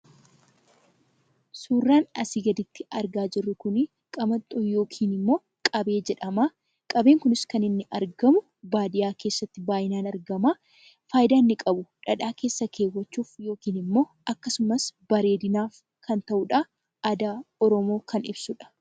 Suuraan asii gaditti argaa jirru kun, qabettoo yookiin qabee jedhama. Qabeen kunis kan inni argamu baadiyyaa keessatti baay'inaan argama. Fayidaan inni qabu dhadhaa keessa keewwachuuf yookiin immoo akkasumas bareedinaaf kan ta'udha aadaa oromoo kan ibsudha.